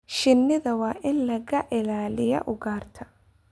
Shinnida waa in laga ilaaliyaa ugaarta.